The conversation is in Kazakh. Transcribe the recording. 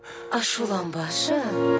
ашуланбашы